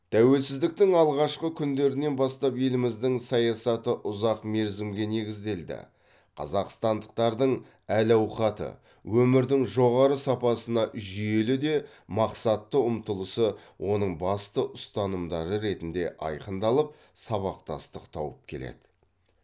тәуелсіздіктің алғашқы күндерінен бастап еліміздің саясаты ұзақ мерзімге негізделді қазақстандықтардың әл ауқаты өмірдің жоғары сапасына жүйелі де мақсатты ұмтылысы оның басты ұстанымдары ретінде айқындалып сабақтастық тауып келеді